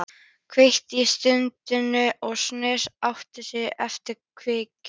Kveikti í tundrinu og neistarnir átu sig upp eftir kveiknum.